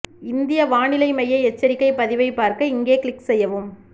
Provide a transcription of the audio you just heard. இந்திய வானிலை மைய எச்சரிக்கை பதிவை பார்க்க இங்கே க்ளிக் செய்யவும்